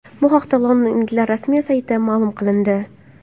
Bu haqida londonliklar rasmiy saytida ma’lum qilindi .